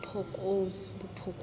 botlhokong